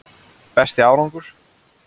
Besti árangur: